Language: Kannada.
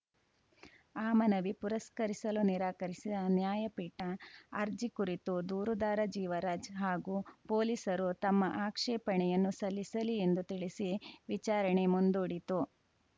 ಆ ಮನವಿ ಪುರಸ್ಕರಿಸಲು ನಿರಾಕರಿಸಿದ ನ್ಯಾಯಪೀಠ ಅರ್ಜಿ ಕುರಿತು ದೂರುದಾರ ಜೀವರಾಜ್‌ ಹಾಗೂ ಪೊಲೀಸರು ತಮ್ಮ ಆಕ್ಷೇಪಣೆಯನ್ನು ಸಲ್ಲಿಸಲಿ ಎಂದು ತಿಳಿಸಿ ವಿಚಾರಣೆ ಮುಂದೂಡಿತು